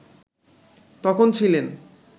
তখন ছিলেন